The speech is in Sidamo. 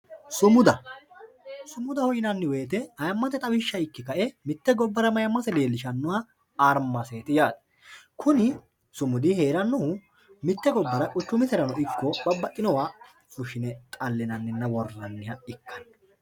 sumuda sumudaho yinanni woyiite ayiimate xawiisha ikke ka"e mitte gobbara mayiimase leelishannoha armaseet yaate kuni sumudi heerannohu mitte gobbara quchumiserano ikko babbaxinowa fushshine dhallinninna woranniha ikkanno